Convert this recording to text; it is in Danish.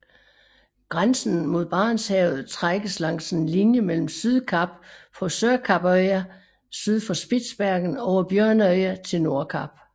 Grænsen mod Barentshavet trækkes langs en linje mellem Sydkapp på Sørkappøya syd for Spitsbergen over Bjørneøen til Nordkap